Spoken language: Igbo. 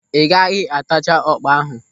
Ị gaghị atacha ọkpa ahụ.